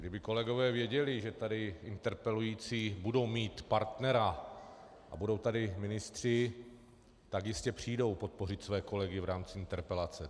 Kdyby kolegové věděli, že tady interpelující budou mít partnera a budou tady ministři, tak jistě přijdou podpořit své kolegy v rámci interpelace.